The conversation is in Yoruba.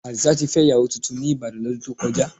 Àdìsá ti fẹ́ ìyàwó tuntun ní Ìbàdàn, lọ́dún tó kọjá.